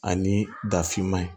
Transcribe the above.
Ani dafinman ye